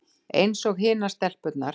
Einsog hinar stelpurnar.